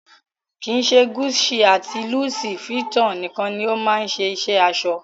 Kii ṣe Gucci àti Louis Vuitton nikan ni o ma se iṣẹ aṣọ.